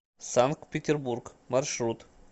санкт петербург маршрут